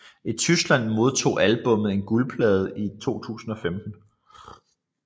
I Tyskland modtog albummet en guldplade i 2015